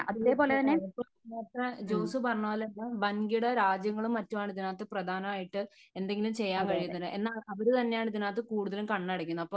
തീർച്ചയായും നേരത്തെ ജോസു പറഞ്ഞ പോലെ വൻകിട രാജ്യങ്ങളും മറ്റുമാണ് ഇതിനകത്ത് പ്രധാനായിട്ട് എന്തെങ്കിലും ചെയ്യാൻ കഴിയുന്നത്. എന്നാൽ അവര് തന്നെയാണ് ഇതിനകത്ത് കൂടുതലും കണ്ണടയ്ക്കുന്നത് . അപ്പോ